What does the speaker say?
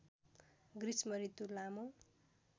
ग्रीष्म ऋतु लामो